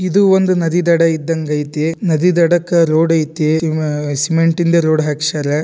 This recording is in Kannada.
ಇದು ಒಂದು ನದಿಯ ದಡ ಇದ್ದಂಗ್ ಐತಿ ನದಿ ದಡಕ್ಕ ರೋಡ್ ಐತಿ ಸಿಮೆ-ಸಿಮೆಂಟಿಂದ ರೋಡ್ ಹಾಕ್ಸ್ಯಾರ.